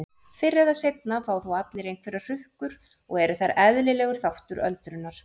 Fyrr eða seinna fá þó allir einhverjar hrukkur og eru þær eðlilegur þáttur öldrunar.